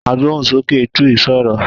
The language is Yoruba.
Agbóhùnsókè Twi sọ̀rọ̀.